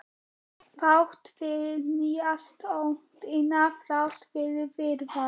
Þrátt fyrir nýársnóttina, þrátt fyrir Viðar.